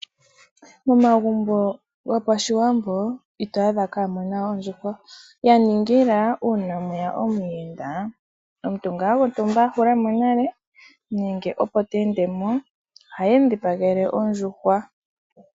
Momagumbo gopashiwambo ito a dha mo ka muna ondjuhwa ya ningila uuna mweya omuyenda ,omuntu gontumba i ihula mo nale nenge opo te ende mo, ohaye mu dhipagele ondjuhwa.